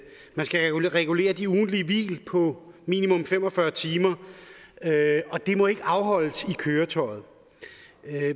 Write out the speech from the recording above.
man skal regulere det ugentlige hvil på minimum fem og fyrre timer og det må ikke afholdes i køretøjet